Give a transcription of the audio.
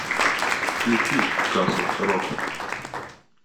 включи касл рок